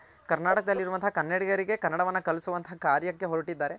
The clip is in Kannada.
ಕರ್ನಾಟಕದಲ್ ಇರುವಂತಹ ಕನ್ನಡಿಗರ್ಗೆ ಕನ್ನಡವನ್ನ ಕಳಿಸುವಂತ ಕಾರ್ಯಕ್ಕೆ ಹೊರಟಿದ್ದಾರೆ.